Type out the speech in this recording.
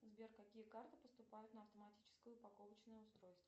сбер какие карты поступают на автоматическое упаковочное устройство